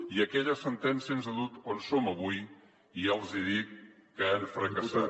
i aquella sentència ens ha dut on som avui i ja els dic que han fracassat